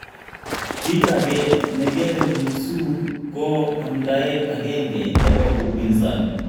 Kiit age ne kere Lissu ko amdaet agenge nebo upinsani